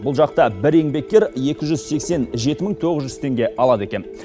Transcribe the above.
бұл жақта бір еңбеккер екі жүз сексен жеті мың тоғыз жүз теңге алады екен